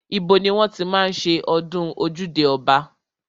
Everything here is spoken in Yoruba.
Ibo ni wọ́n ti máa ń ṣe ọdún ojúde ọba?